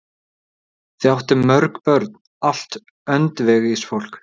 Þau áttu mörg börn, allt öndvegisfólk.